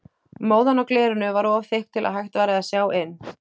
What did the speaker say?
Móðan á glerinu var of þykk til að hægt væri að sjá inn.